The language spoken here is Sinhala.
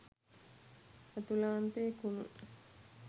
ඇතුළාන්තයේ කුණු.